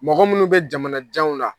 Mɔgɔ minnu bɛ jamanajanw la